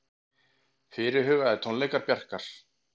Fyrirhugaðir tónleikar Bjarkar